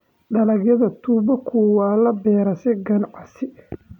Dalagyada tubaaku waxaa la beeraa si ganacsi.